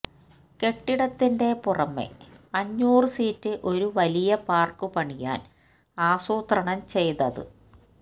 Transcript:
കെട്ടിടത്തിന്റെ പുറമേ അഞ്ഞൂറു സീറ്റ് ഒരു വലിയ പാർക്ക് പണിയാൻ ആസൂത്രണം ചെയ്തത്